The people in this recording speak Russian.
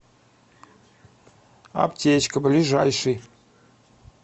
аптечка ближайший